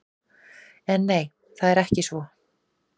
En nei, það er ekki svo.